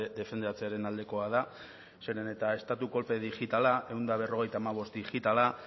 defendatzearen aldekoa da zeren eta estatu kolpe digitala ehun eta berrogeita hamabost digitala